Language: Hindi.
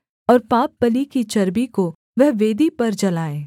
और पापबलि की चर्बी को वह वेदी पर जलाए